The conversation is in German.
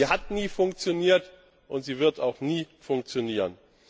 Sie hat nie funktioniert und sie wird auch nie funktionieren.